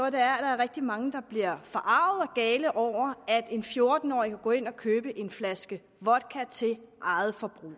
at der er rigtig mange der bliver forarget og gale over at en fjorten årig kan gå ind og købe en flaske vodka til eget forbrug